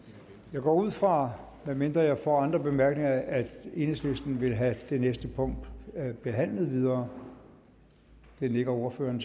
jeg går ud fra medmindre jeg får andre bemærkninger at enhedslisten vil have det næste punkt behandlet videre det nikker ordføreren